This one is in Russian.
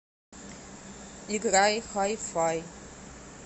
играй хай фай